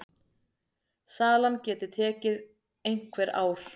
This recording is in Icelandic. Salan geti tekið einhver ár.